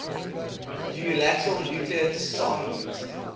unilateral nuclear disarmament